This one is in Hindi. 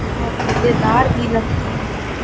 और मजेदार भी लगती है।